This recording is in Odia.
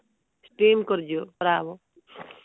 steam କରିଯିବ